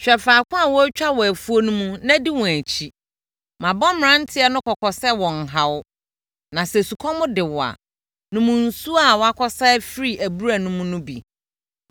Hwɛ faako a wɔretwa wɔ afuo no mu na di wɔn akyi. Mabɔ mmeranteɛ no kɔkɔ sɛ wɔnnha wo. Na sɛ sukɔm de wo a, nom nsuo a wɔakɔsa afiri abura no mu no bi.”